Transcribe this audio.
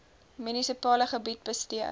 munisipale gebied bestee